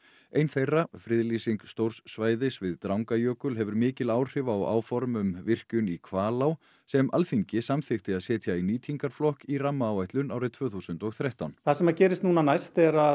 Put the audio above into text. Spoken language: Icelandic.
ein þeirra friðlýsing stórs svæðis við Drangajökul hefur mikil áhrif á áform um virkjun í Hvalá sem Alþingi samþykkti að setja í nýtingarflokk í rammaáætlun árið tvö þúsund og þrettán það sem gerist núna næst er að